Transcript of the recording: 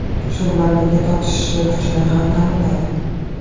Shu bilan birga tortishishi kuchini ham ta’minlaydi.